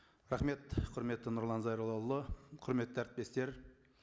рахмет құрметті нұрлан зайроллаұлы құрметті әріптестер